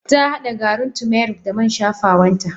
Tahada garin turmeric da man shafawan ta.